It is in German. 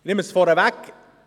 Ich nehme es vorweg: